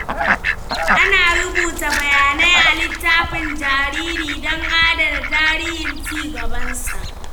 Ana rubuta bayanai a littafin jariri don adana tarihin ci gabansa.